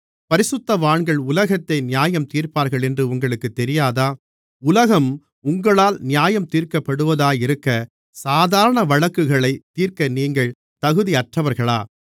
பரிசுத்தவான்கள் உலகத்தை நியாயந்தீர்ப்பார்களென்று உங்களுக்குத் தெரியாதா உலகம் உங்களால் நியாயந்தீர்க்கப்படுவதாயிருக்க சாதாரண வழக்குகளைத் தீர்க்க நீங்கள் தகுதியற்றவர்களா